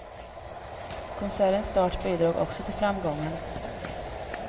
Konsertens start bidrog också till framgången.